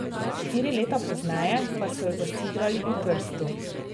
Štiri leta pozneje pa so jo zasidrali v Trstu.